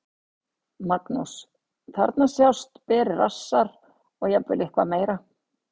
Magnús: Þarna sjást berir rassar og jafnvel eitthvað meira?